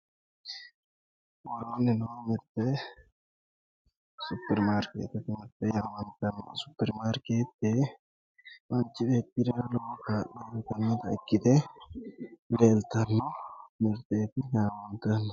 Worooni noo mirte superimaariketete mirte yaamantano, superimarketete mirte manchi beettira lowo horo uyittanote ikkite leelittanna mirteti yaamantano